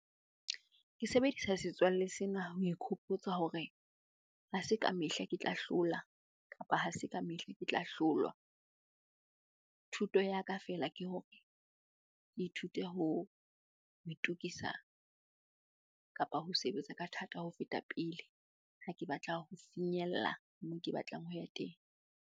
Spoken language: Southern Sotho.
Ke sebedisa setswalle sena ho ikhopotsa hore ha se kamehla ke tla hlola kapa ha se kamehla ke tla hlolwa. Thuto ya ka feela ke hore ke ithute ho itokisa kapa ho sebetsa ka thata ho feta pele ha ke batla ho finyella moo ke batlang ho ya teng.